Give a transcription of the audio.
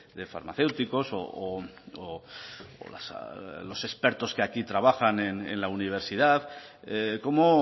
de farmacéuticos o los expertos que aquí trabajan en la universidad cómo